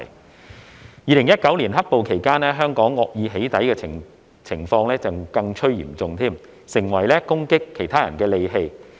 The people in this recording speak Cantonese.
在2019年"黑暴"期間，香港惡意"起底"的情況更趨嚴重，成為攻擊他人的利器。